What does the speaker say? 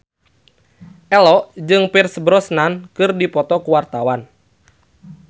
Ello jeung Pierce Brosnan keur dipoto ku wartawan